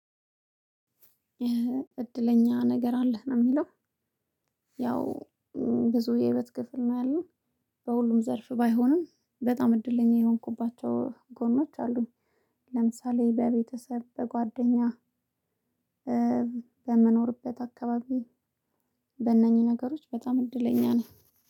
እድለኛ ነገር አለህ ነው የሚለው? ያው ብዙ የህይወት ክፍል ነው ያለው በሁሉም ዘርፍ ባይሆንም በጣም እድለኛ የሆንኩባቸው ጎኖች አሉኝ። ለምሳሌ በቤተሰብ በጓደኛ በምኖርበት አካባቢ በእነኚህ ነገሮች በጣም እድለኛ ነኝ።